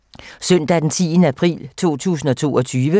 Søndag d. 10. april 2022